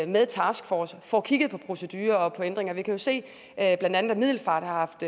med taskforcen og får kigget på procedurer og på ændringer vi kan jo se at blandt andet middelfart har haft